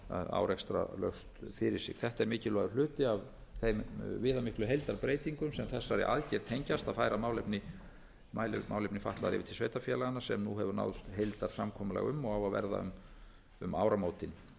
árekstralaust fyrir sig þetta er mikilvægur hluti af þeim viðamiklu heildarbreytingum sem þessari aðgerð tengjast að færa málefni fatlaðra yfir til sveitarfélaganna sem nú hefur náðst heildarsamkomulag um og á að verða um áramótin það er engu að